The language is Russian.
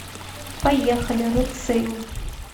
поехали рэд сейл